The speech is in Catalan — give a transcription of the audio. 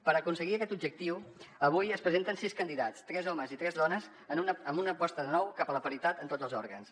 per aconseguir aquest objectiu avui es presenten sis candidats tres homes i tres dones amb una aposta de nou cap a la paritat en tots els òrgans